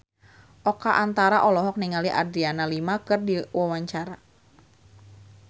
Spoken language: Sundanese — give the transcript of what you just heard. Oka Antara olohok ningali Adriana Lima keur diwawancara